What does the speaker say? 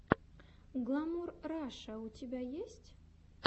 гламур раша у тебя есть